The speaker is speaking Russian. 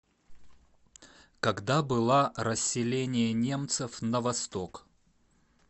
когда была расселение немцев на восток